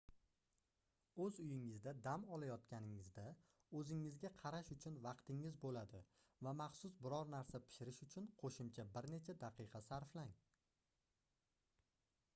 oʻz uyingizda dam olayotganingizda oʻzingizga qarash uchun vaqtingiz boʻladi va maxsus biror narsa pishirish uchun qoʻshimcha bir necha daqiqa sarflang